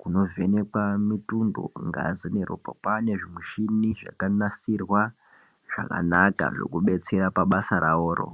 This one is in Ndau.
kuno vhenekwaa mitundo ngazi neropa kwane zvi michini zvaka nasirwa zvaka naka zveku detsera pa basa ravoro.